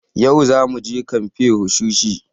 Yau za muje kamfen wushishi